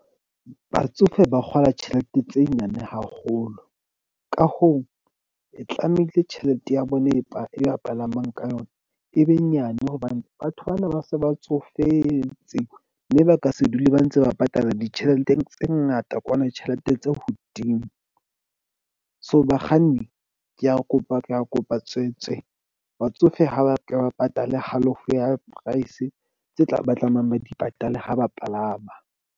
Batsofe ba kgola tjhelete tse nyane haholo, ka hoo, e tlamehile tjhelete ya bona e ba e ba palamang ka yona e be nyane. Hobane batho bana ba se ba tsofetse. Mme ba ka se dule ba ntse ba patala ditjhelete tse ngata kwana tjhelete tse hodimo. So, bakganni ke a, kopa, ke a kopa tswetswe. Batsofe ha ba ke ba patale halofo ya price tse tla ba tlamehang, ba di patale ha ba palama.